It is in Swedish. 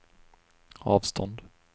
avstånd